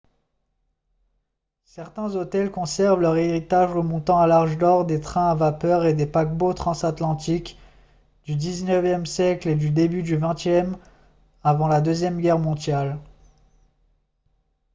certains hôtels conservent leur héritage remontant à l'âge d'or des trains à vapeur et des paquebots transatlantiques du xixe siècle et début du xxe avant la deuxième guerre mondiale